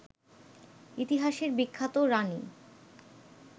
ইতিহাসের বিখ্যাত রানী